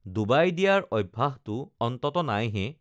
Dubai দিয়াৰ অভ্যাসটো অন্তত নাইহে